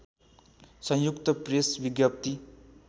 संयुक्त प्रेस विज्ञप्ति